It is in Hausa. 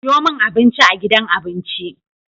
Siyomin abinci a gidan abinci